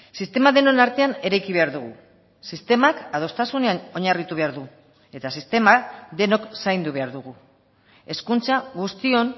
sistema denon artean eraiki behar dugu sistemak adostasunean oinarritu behar du eta sistema denok zaindu behar dugu hezkuntza guztion